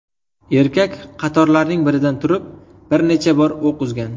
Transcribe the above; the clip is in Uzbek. Erkak qatorlarning biridan turib bir necha bor o‘q uzgan.